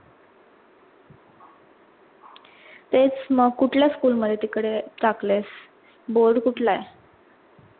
तेच मंग कुठल्या school मध्ये तिकडे टाकळेस board कुटला आहे?